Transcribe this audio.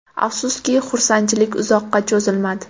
Afsuski, xursandchilik uzoqqa cho‘zilmadi.